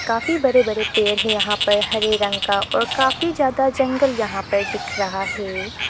काफी बड़े बड़े पेड़ हैं यहां पर हरे रंग का और काफी ज्यादा जंगल यहां पर दिख रहा है।